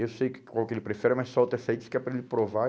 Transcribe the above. Eu sei que qual que ele prefere, mas solta essa aí, diz que é para ele provar.